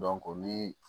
ni